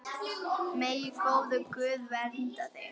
Megi góður Guð vernda þig.